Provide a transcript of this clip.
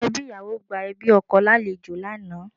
Àwọn ẹbí ìyàwó gba ẹbí ọkọ lálejò lánàá